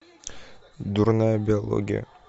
дурная биология